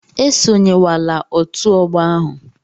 Esonyewala otu ọgbọ ahụ!